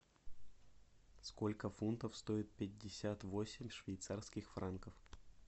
сколько фунтов стоит пятьдесят восемь швейцарских франков